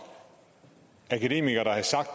akademikere der havde sagt